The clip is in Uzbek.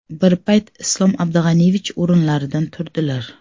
Bir payt Islom Abdug‘aniyevich o‘rinlaridan turdilar.